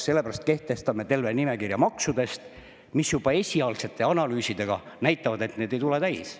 Sellepärast kehtestame terve nimekirja maksudest, mis juba esialgsete analüüsidega näitavad, et need ei tule täis.